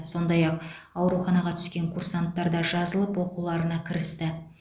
сондай ақ ауруханаға түскен курсанттар да жазылып оқуларына кірісті